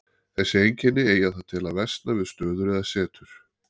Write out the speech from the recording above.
Þessi einkenni eiga það til að versna við stöður eða setur.